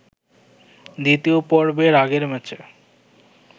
দ্বিতীয় পর্বের আগের ম্যাচে